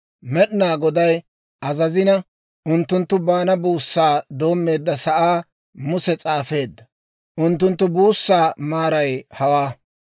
Med'inaa Goday azazina, unttunttu baana buussaa doommeedda sa'aa Muse s'aafeedda; unttunttu buussaa maaray hawaa.